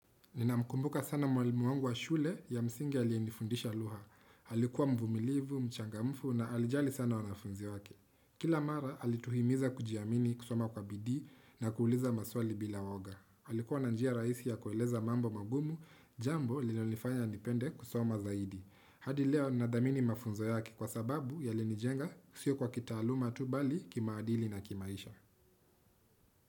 Ninamkumbuka sana mwalimu wangu wa shule ya msingi aliyenifundisha lugha. Alikuwa mvumilivu, mchangamfu na alijali sana wanafunzi wake. Kila mara alituhimiza kujiamini kusoma kwa bidii na kuuliza maswali bila uwoga. Alikuwa na njia rahisi ya kueleza mambo magumu jambo lililonifanya nipende kusoma zaidi. Hadi leo ninadhamini mafunzo yake kwa sababu yalinijenga sio kwa kitaaluma tu bali kimaadili na kimaisha.